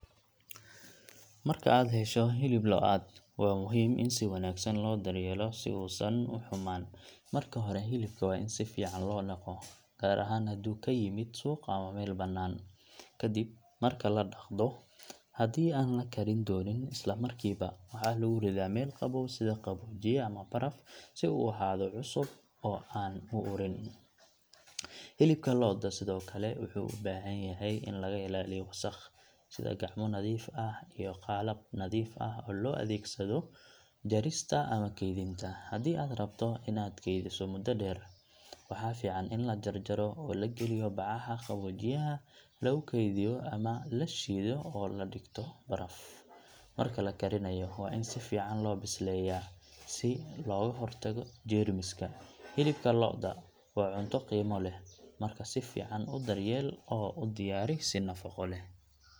Marka aad hesho hilib lo’aad , waa muhiim in si wanaagsan loo daryeelo si uusan u xumaan. Marka hore, hilibka waa in si fiican loo dhaqo, gaar ahaan haddii uu ka yimid suuq ama meel bannaan. Ka dib marka la dhaqdo, haddii aan la karin doonin isla markiiba, waxaa lagu ridaa meel qabow sida qaboojiye ama baraf, si uu u ahaado cusub oo aan u urin. Hilibka lo’da sidoo kale wuxuu u baahan yahay in laga ilaaliyo wasakh, sida gacmo nadiif ah iyo qalab nadiif ah oo loo adeegsado jarista ama kaydinta. Haddii aad rabto in aad keydiso muddo dheer, waxaa fiican in la jarjaro oo la geliyo bacaha qaboojiyaha lagu kaydiyo ama la shiido oo la dhigto baraf. Marka la karinayo, waa in si fiican loo bisleeyaa si looga hortago jeermiska. Hilibka lo’da waa cunto qiimo leh, marka si fiican u daryeel oo u diyaari si nafaqo leh.